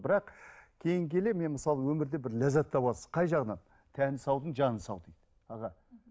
бірақ кейін келе мен мысалы өмірде бір ләззат табасың қай жағынан тәні саудың жаны сау дейді аға